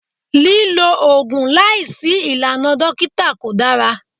Lílo Ògùn láìsí ìlànà dókítà kò dára.